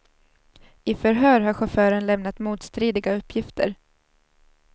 I förhör har chauffören lämnat motstridiga uppgifter.